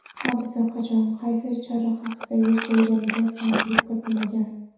Hodisa qachon, qaysi chorrahasida yuz berganiga aniqlik kiritilmagan.